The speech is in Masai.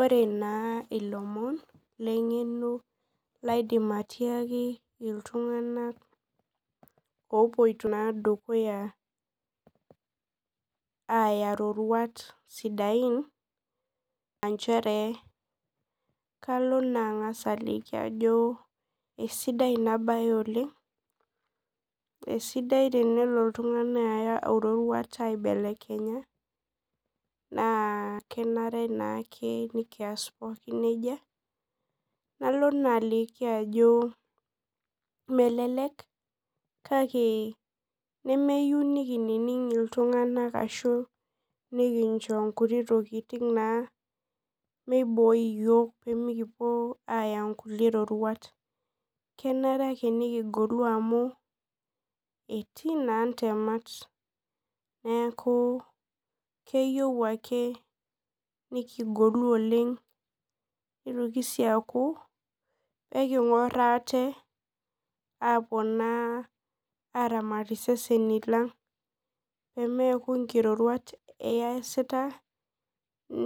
Ore na ilomon lengeno laidim atiaki ltunganak opoito na dukuya aya roruatbsidain aa nchere kalo na angas aliki ajo kesidai inabae oleng na kenare ake nikias nejia nalo na aliki ajo melek kake nemeyieu nikining ltunganak ashu nikincho nkuti tokitin pemekiya ake eroruata kenare nikigolu amu etii na ntemat neaku keyieu ake nikigolu oleng nitoki si aku ekingor aate aingur isesenj lang o Pemeaku nikiroriat kiasita